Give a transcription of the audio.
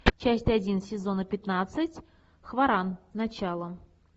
часть один сезона пятнадцать хваран начало